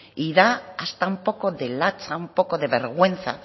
y da hasta un poco de lotsa un poco de vergüenza